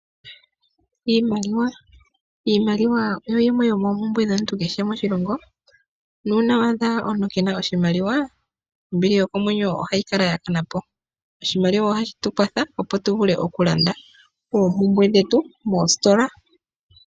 Iimaliwa oyo yimwe yomoompumbwe dhomuntu kehe moshilongo, nuuna wa adha omuntu keena oshimaliwa, ombili yokomwenyo ohayi kala ya kana po. Oshimaliwa ohashi tu kwatha, opo tu vule oku landa oompumbwe dhetu moositola.